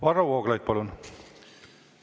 Varro Vooglaid, palun!